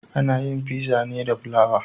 Ana yin Fizza ne da fulawa